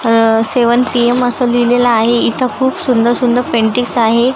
अ seven PM असं लिहिलेलं आहे इथं खूप सुंदर सुंदर पेंटिंग्स आहे.